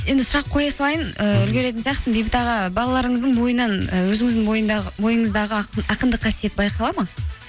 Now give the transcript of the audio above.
енді сұрақ қоя салайын ыыы үлгіретін сияқтымын бейбіт аға балаларыңыздың бойынан і өзіңіздің бойыңыздағы ақындық қасиет байқалады ма